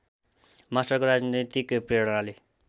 मास्टरको राजनैतिक प्रेरणाले